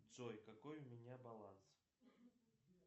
джой какой у меня баланс